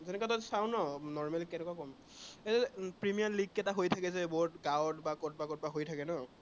সেনেকুৱাটো চাও ন normally কেনেকুৱা কম, এৰ যে প্ৰিমিয়াৰ লীগ কেইটা হৈ থাকে যে সেইবোৰত গাঁৱত বা কৰবাত কৰবাত হৈ থাকে ন